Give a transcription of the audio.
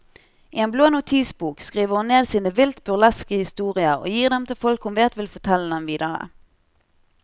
I en blå notisbok skriver hun ned sine vilt burleske historier og gir dem til folk hun vet vil fortelle dem videre.